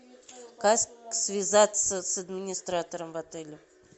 как связаться с администратором в отеле